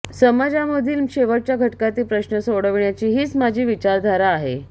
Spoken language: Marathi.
समाजामधील शेवटच्या घटकातील प्रश्न सोडविण्याची हीच माझी विचारधारा आहे